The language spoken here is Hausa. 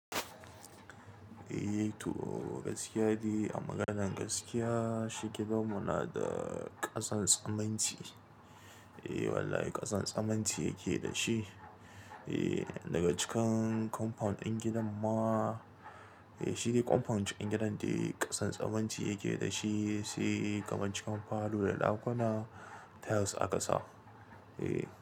Eh toh, gaskiya dai a maganan gaskiya, shi gidanmu na da ƙasan suminti. Eh wallahi ƙasan tsammani yake da shi. Eh daga cikin compound ɗin gidan ma, shi dai compound ɗin gidan da ƙasan simunti yake da shi, sai kuma cikin falo da ɗakuna tiles aka sa. Eh.